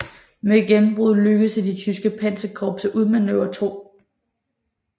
Med gennembruddet lykkedes det det tyske panserkorps at udmanøvrere 2